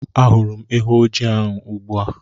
Ahụrụ m ewu ojii ahụ ugbu a.